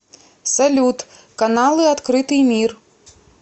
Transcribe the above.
салют каналы открытый мир